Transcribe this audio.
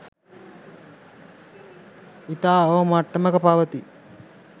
ඉතා අවම මට්මටක පවතී.